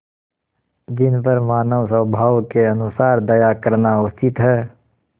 जिन पर मानवस्वभाव के अनुसार दया करना उचित है